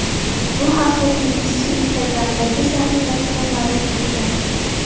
Bu haqda tennischi Instagram’dagi sahifasida ma’lum qilgan .